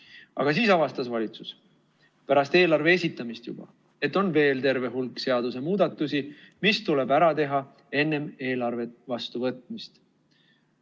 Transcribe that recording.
Aga siis avastas valitsus, juba pärast eelarve esitamist, et on veel terve hulk seadusemuudatusi, mis tuleb ära teha enne eelarve vastuvõtmist.